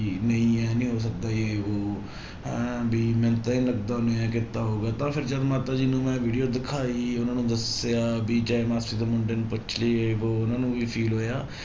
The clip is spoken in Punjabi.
ਨਹੀਂ ਇਹ ਨੀ ਹੋ ਸਕਦਾ ਜੇ ਵੋਹ ਹੈਂ ਵੀ ਮੈਨੂੰ ਤਾਂ ਨੀ ਲੱਗਦਾ ਉਹਨੇ ਇਉਂ ਕੀਤਾ ਹੋਊਗਾ ਤਾਂ ਫਿਰ ਜਦੋਂ ਮਾਤਾ ਜੀ ਨੂੰ ਮੈਂ video ਦਿਖਾਈ, ਉਹਨਾਂ ਨੂੰ ਦੱਸਿਆ ਵੀ ਚਾਹੇ ਮਾਸੀ ਦੇ ਮੁੰਡੇ ਨੂੰ ਪੁੱਛ ਲਈ ਜੇ ਵੋਹ ਉਹਨਾਂ ਨੂੰ ਵੀ feel ਹੋਇਆ